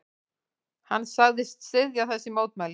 Hann sagðist styðja þessi mótmæli.